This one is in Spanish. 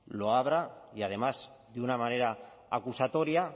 lo abra y además de una manera acusatoria